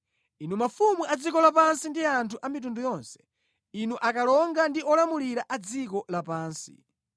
Inu mafumu a dziko lapansi ndi anthu a mitundu yonse, inu akalonga ndi olamulira a dziko lapansi.